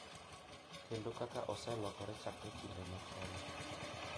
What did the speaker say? Kendo kaka oselokore chakre kinde machon.